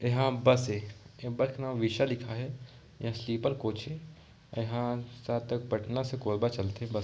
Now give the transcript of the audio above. ये ह बस ये ये बस में विषा लिखाए हेयह स्लीपर कोच ये ये ह शायद तक पटना से कोरबा चलथे बस --